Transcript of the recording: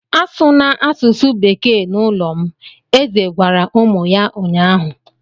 A sụna asụsụ Bekee n'ụlọ m! Eze gwara ụmụ ya ụnyahụ.